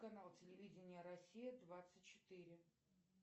канал телевидения россия двадцать четыре